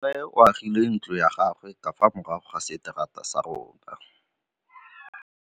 Nkgonne o agile ntlo ya gagwe ka fa morago ga seterata sa rona.